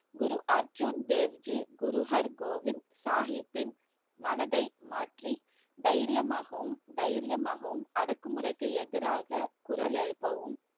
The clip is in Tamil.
குரு அர்ஜுன் தேவ் ஜி குரு ஹர்கோவிந்த் சாஹிப்பின் மனதை மாற்றி தைரியமாகவும் தைரியமாகவும் அடக்குமுறைக்கு எதிராக குரல் எழுப்பவும்